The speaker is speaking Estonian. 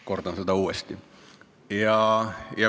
Kordasin seda uuesti!